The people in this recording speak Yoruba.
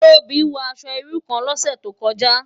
Tobi wò aṣò irú kán lòsè tókòjá